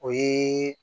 O ye